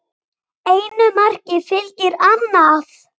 Einu marki fylgir annað